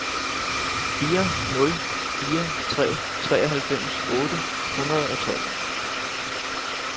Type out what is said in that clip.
fire nul fire tre treoghalvfems otte hundrede og tolv